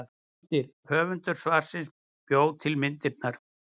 Myndir: Höfundur svarsins bjó til myndirnar.